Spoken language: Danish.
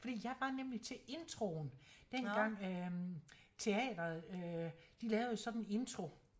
Fordi jeg var nemlig til introen dengang øh teateret øh de lavede sådan en intro